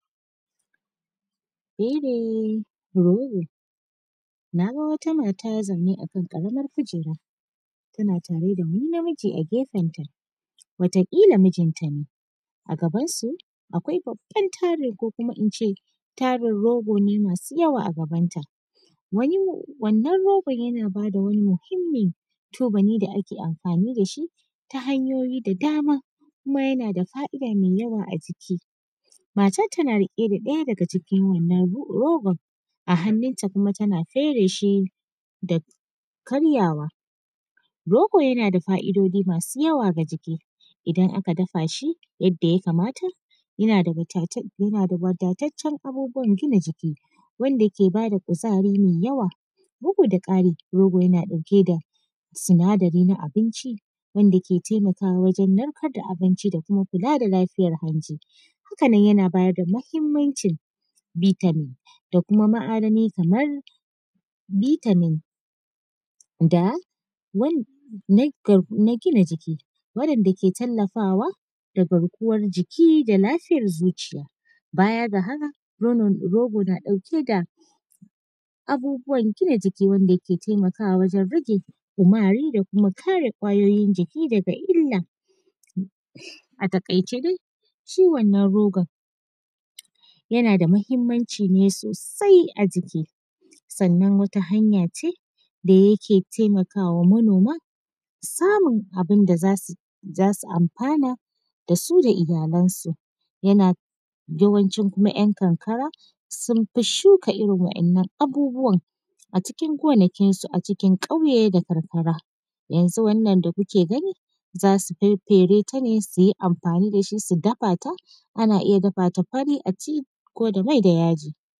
Fere rogo, naga wata mata zaune akan karamar kujera tana tare da wani na miji a gefenta wata kila mijinta ne a gaban su akwai babban tari ko kuma nace tarin rogo ne masu yawa ne a gaban ta, wannan rogon yana bada wani muhimmin tubali da ake amfani dashi ta hanyoyi da dama kuma yana da fa’ida mai yawa a jiki, matan tana rike da ɗaya daga cikin wannan rogon a hannuta kuma tana fere shi da karyawa, rogo yana da fa’idoji masu yawa ga jiki idan aka dafa shi yadda ya kamata yana da wadatacen abubuwan gina jiki wanda ke bada kuzari mai yawa, bugu da kari, rogo yana ɗauke da sinadari na abinci wanda ke taimakawa wajen narkar da abinci da kuma kula da lafiyar hanji, haka nan yana bada muhimmancin vitamin da kuma ma’adanai kamar vitamin na gina jiki wanda ke talafawa ga garkuwan jiki da lafiyar zuciya, baya ga haka rogo na ɗauke da abubuwan gina jiki wanda ke taimaka wajen rage kumara da kuma kare ƙwayoyin jiki daga illa. A takaice dai ciwon na goga yana da muhimmanci sosai a jiki sannan wata hanya ce da yake taimakawa manoma samun abun da zasu amfana dasu da iyalan su yawancin kuma ‘yankarkara sun fi shuka irin wannan abubuwan a cikin gonakin su a cikin kauye da karkara, yanzu wannan da kuke gani zasu faffere ta ne suyi amfani dashi su dafa ta ana iya dafata fari aci ko da mai da yaji.